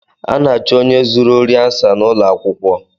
A na-achụ onye zuru ori ansa n’ụlọakwụkwọ